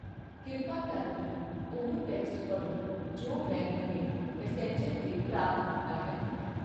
ਕਿਰਪਾ ਕਰਕੇ ਉਹ ਟੈਕਸਟ ਪੜ੍ਹੋ ਜੋ ਮੈਂ ਹੁਣੇ ਮੈਸੇਂਜਰ 'ਤੇ ਪ੍ਰਾਪਤ ਕੀਤਾ ਹੈ